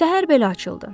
Səhər belə açıldı.